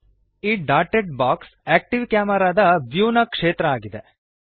ಈ dotted box active ಕ್ಯಾಮೆರಾದ view ನ ಕ್ಷೇತ್ರ ಆಗಿದೆ